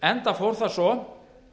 enda fór það svo